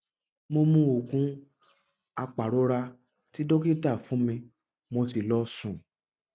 mo mu oògùn apàrora tí dókítà fún mi mo sì lọ sùn